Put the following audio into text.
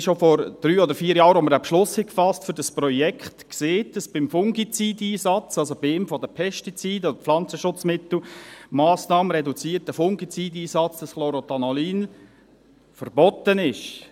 Wir haben schon vor drei oder vier Jahren, als wir den Beschluss für dieses Projekt gefasst haben, gesagt, dass beim Fungizid-Einsatz, also bei einem der Pestizide oder Pflanzenschutzmittel, die Massnahme reduzierter Fungizid-Einsatz, dieses Chlorothalonil verboten ist.